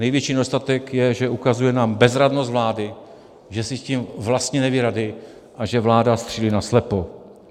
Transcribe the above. Největší nedostatek je, že ukazuje na bezradnost vlády, že si s tím vlastně neví rady a že vláda střílí naslepo.